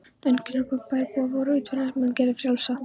Einkunnarorð bæjarbúa voru: yfirvinnan mun gera yður frjálsa.